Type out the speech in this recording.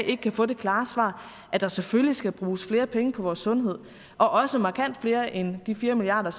ikke kan få det klare svar at der selvfølgelig skal bruges flere penge på vores sundhed og også markant flere end de fire milliard